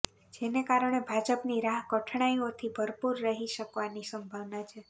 જેના કારણે ભાજપની રાહ કઠણાઈઓથી ભરપૂર રહી શકવાની સંભાવના છે